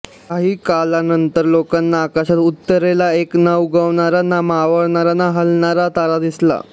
काही कालानंतर लोकांना आकाशात उत्तरेला एक न उगवणारा न मावळणारा न हालणारा तारा दिसला